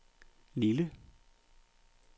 Lille